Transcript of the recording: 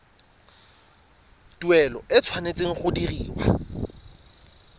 tuelo e tshwanetse go dirwa